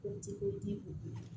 O di o di u ma